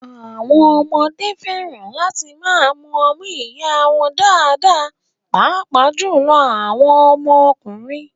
Àwọn ọmọdé fẹ́ràn láti máa mu ọmú ìyá wọn dáadáa, pàápàá jùlọ àwọn ọmọkùnrin